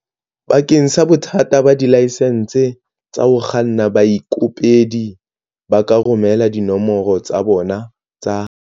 Bakeng sa bothata ba dilaesense tsa ho kganna, baikopedi ba ka romela dinomoro tsa bona tsa